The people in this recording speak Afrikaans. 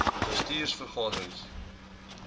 bestuurs vergade rings